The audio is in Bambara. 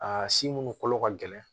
A si munnu kolo ka gɛlɛn